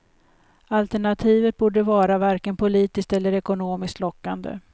Alternativet borde vara varken politiskt eller ekonomiskt lockande.